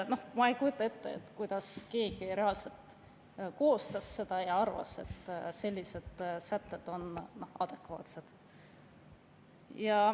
Noh, ma ei kujuta ette, kuidas keegi seda koostas ja arvas, et sellised sätted on adekvaatsed.